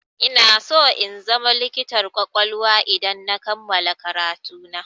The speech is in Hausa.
Inaso na zama likitar ƙwaƙwalwa idan na kammala karatu na.